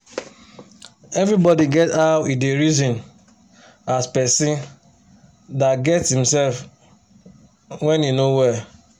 evribodi get how e da reson as person da get himsef when he no well